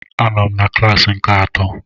Anọ m na klassi nke atọ